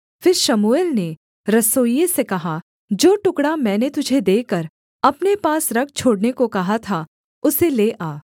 फिर शमूएल ने रसोइये से कहा जो टुकड़ा मैंने तुझे देकर अपने पास रख छोड़ने को कहा था उसे ले आ